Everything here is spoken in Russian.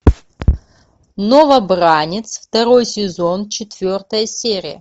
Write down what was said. новобранец второй сезон четвертая серия